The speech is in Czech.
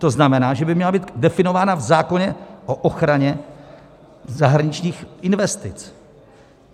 To znamená, že by měla být definována v zákoně o ochraně zahraničních investic.